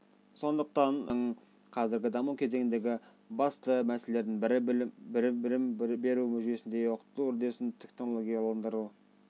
сондықтан қоғамымыздың қазіргі даму кезеңіндегі басты мәселелердің бірі білім беру жүйесінде оқыту үдерісін технологияландыру